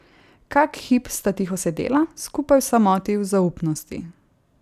Kak hip sta tiho sedela, skupaj v samoti, v zaupnosti.